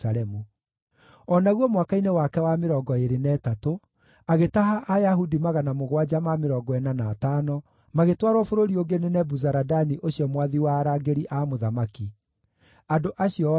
o naguo mwaka-inĩ wake wa mĩrongo ĩĩrĩ na ĩtatũ, agĩtaha Ayahudi 745 magĩtwarwo bũrũri ũngĩ nĩ Nebuzaradani ũcio mwathi wa arangĩri a mũthamaki. Andũ acio othe maarĩ 4,600.